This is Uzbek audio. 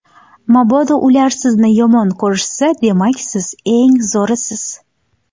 Mabodo ular sizni yomon ko‘rishsa, demak siz eng zo‘risiz.